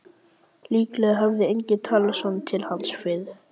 Líklega hafði enginn talað svona til hans fyrr.